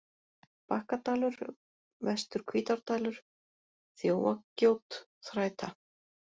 Bakkadalur, Vestur-Hvítárdalur, Þjófagjót, Þræta